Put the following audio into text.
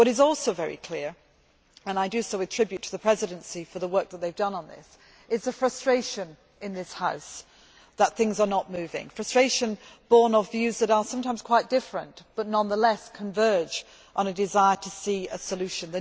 What is also very clear and I pay tribute to the Presidency for the work that they have done on this is the frustration in this House that things are not moving, frustration borne of views that are sometimes quite different, but nonetheless converge on a desire to see a solution.